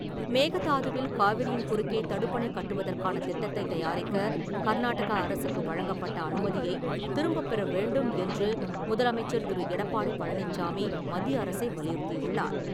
மேகதாதுவில் காவிரியின் குறுக்கே தடுப்பணை கட்டுவதற்கான திட்டத்தைத் தயாரிக்க கர்நாடக அரசுக்கு வழங்கப்பட்ட அனுமதியை திரும்பப்பெற வேண்டும் என்று முதலமைச்சர் திரு. எடப்பாடி பழனிச்சாமி, மத்திய அரசை வலியுறுத்தியுள்ளார்.